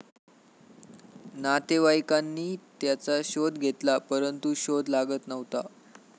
नातेवाईकांनी त्याचा शोध घेतला परंतु शोध लागत नव्हता.